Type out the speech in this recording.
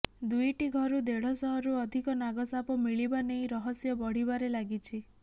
ଦୁଇଟି ଘରୁ ଦେଢଶହରୁ ଅଧିକ ନାଗ ସାପ ମିଳିବା ନେଇ ରହସ୍ୟ ବଢିବାରେ ଲାଗିଛି